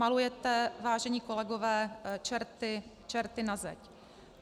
Malujete, vážení kolegové, čerty na zeď.